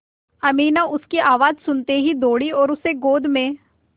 अमीना उसकी आवाज़ सुनते ही दौड़ी और उसे गोद में